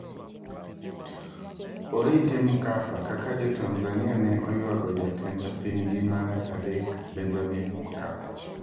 Oriti Mkapa, kaka jo Tanzania ne oywago jatend apainygi mar adek Benjamin Mkapa.